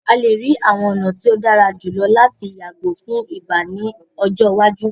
A le rii awọn ọna ti o dara julọ lati yago fun ibà ni ọjọ iwaju.